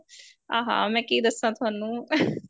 ਆ ਹਾ ਮੈਂ ਕੀ ਦੱਸਾ ਤੁਹਾਨੂੰ